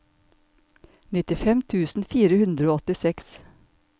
nittifem tusen fire hundre og åttiseks